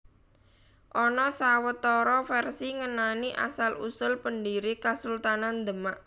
Ana sawetara vèrsi ngenani asal usul pendhiri Kasultanan Demak